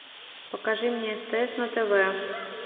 покажи мне стс на тв